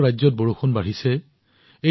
বহুতো ৰাজ্যত বৰষুণ বাঢ়িছে